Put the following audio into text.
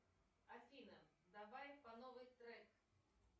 афина давай по новой трек